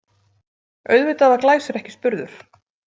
Auðvitað var Glæsir ekki spurður.